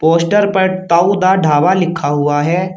Poster पर ताऊ दा ढाबा लिखा हुआ है।